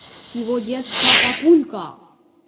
с его детства папулька